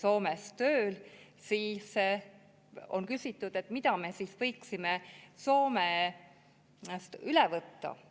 Soomes tööl, siis võib küsida, mida me võiksime Soomest üle võtta.